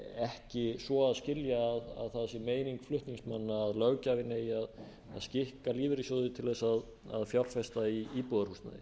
ekki svo að skilja að það sé meining flutningsmanna að löggjafinn eigi að skikka lífeyrissjóði til þess að fjárfesta í íbúðarhúsnæði